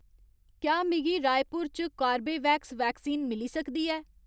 क्या मिगी रायपुर च कार्बेवैक्स वैक्सीन मिली सकदी ऐ